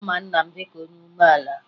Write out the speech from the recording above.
A ma nna m dịka onye umeala